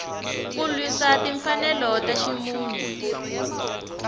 ku lwisa timfanelo ta ximunhu